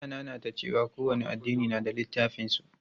Ya nanata cewa kowane addini na da littafan su.